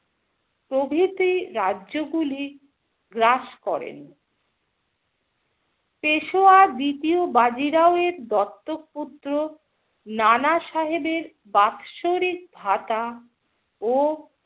প্রভৃতি রাজ্যগুলি গ্রাস করেন । পেশোয়া দ্বিতীয় বাজিরাও এর দত্তক পুত্র নানা সাহেবের বাৎসরিক ভাতা ও